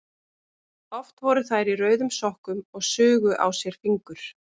Oft voru þær í rauðum sokkum og sugu á sér fingur.